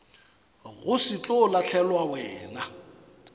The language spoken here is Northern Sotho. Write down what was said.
go se tlo lahlelwa wena